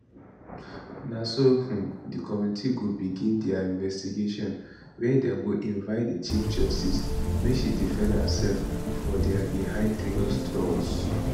na so um di committee go begin dia investigation wia dem go invite di chief justice make she defend herself for dia behind closed doors